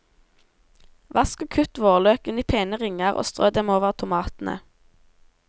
Vask og kutt vårløken i pene ringer og strø dem over tomatene.